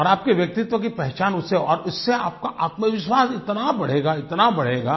और आपके व्यक्तित्व की पहचान उससे और उससे आप का आत्मविश्वास इतना बढ़ेगा इतना बढ़ेगा